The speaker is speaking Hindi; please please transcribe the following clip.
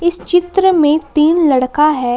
इस चित्र में तीन लड़का है।